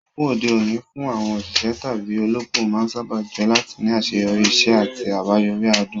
Ìbùkún òde òní fún àwọn òṣìṣẹ́ tàbí olópò máa ń sáábà jẹ́ láti ní àṣeyọrí, iṣẹ́ àti àbáyọrí adùn.